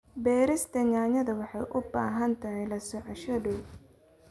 Beerista yaanyada waxay u baahan tahay la socosho dhow.